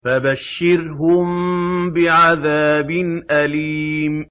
فَبَشِّرْهُم بِعَذَابٍ أَلِيمٍ